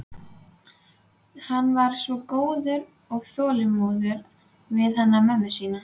Hann var svo góður og þolinmóður við hana mömmu sína.